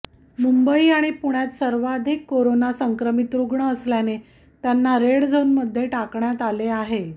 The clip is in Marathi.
मुंबई आणि पुण्यात सर्वाधित कोरोना संक्रमित रुग्ण असल्याने त्यांना रेड झोनमध्ये टाकण्यात आले आहे